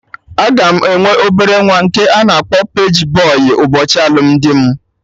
Aga m enwe obere nwa nke a na-akpọ paji bọy ụbọchị alụmdi mụ